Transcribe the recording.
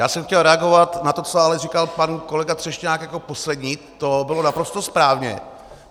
Já jsem chtěl reagovat na to, co ale říkal pan kolega Třešňák jako poslední, to bylo naprosto správně.